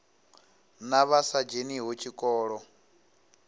na vha sa dzheniho tshikolo